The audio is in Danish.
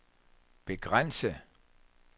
begrænse